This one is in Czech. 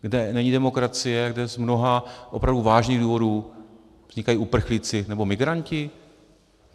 Kde není demokracie, kde z mnoha opravdu vážných důvodů vznikají uprchlíci nebo migranti?